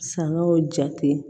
Sangaw jate